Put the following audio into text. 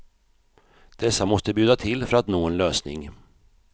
Dessa måste bjuda till för att nå en lösning.